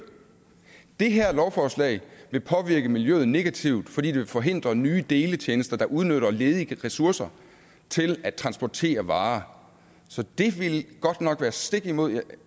det her lovforslag vil påvirke miljøet negativt fordi det vil forhindre nye deletjenester der udnytter ledige ressourcer til at transportere varer så det ville godt nok være stik imod